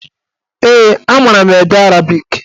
Ee, a mara m ede arabik.